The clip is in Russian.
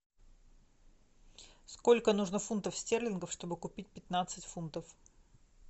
сколько нужно фунтов стерлингов чтобы купить пятнадцать фунтов